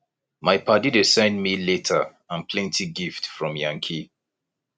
my paddy dey send me letter and plenty gift from yankee